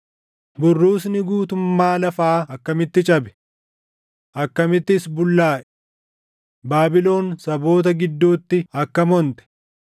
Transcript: Burruusni guutummaa lafaa akkamitti cabe! Akkamittis bullaaʼe! Baabilon saboota gidduutti, akkam onte!